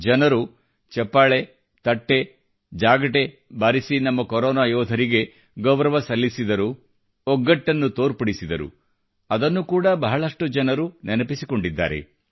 ಜನರು ಚಪ್ಪಾಳೆ ತಟ್ಟೆ ಜಾಗಟೆ ಬಾರಿಸಿ ನಮ್ಮ ಕೊರೊನಾ ಯೋಧರಿಗೆ ಗೌರವ ಸಲ್ಲಿಸಿದರು ಒಗ್ಗಟ್ಟನ್ನು ತೋರ್ಪಡಿಸಿದರು ಅದನ್ನು ಕೂಡ ಬಹಳಷ್ಟು ಜನರು ನೆನಪಿಸಿಕೊಂಡಿದ್ದಾರೆ